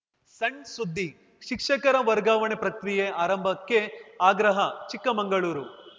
ಸಣ್‌ ಸುದ್ದಿ ಶಿಕ್ಷಕರ ವರ್ಗಾವಣೆ ಪ್ರಕ್ರಿಯೆ ಆರಂಭಕ್ಕೆ ಆಗ್ರಹ ಚಿಕ್ಕಮಂಗಳೂರು